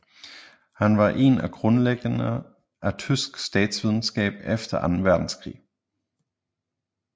Han var en af grundlæggerne af tysk statsvidenskab efter anden verdenskrig